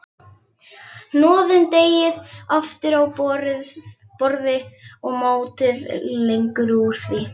Hnoðið deigið aftur á borði og mótið lengjur úr því.